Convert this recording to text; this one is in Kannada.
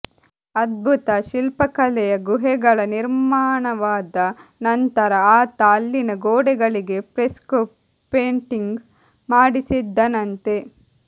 ಅದ್ಭುತ ಶಿಲ್ಪಕಲೆಯ ಗುಹೆಗಳ ನಿರ್ಮಾಣವಾದ ನಂತರ ಆತ ಅಲ್ಲಿನ ಗೋಡೆಗಳಿಗೆ ಫ್ರೆಸ್ಕೊ ಪೇಂಟಿಂಗ್ ಮಾಡಿಸಿದ್ದನಂತೆ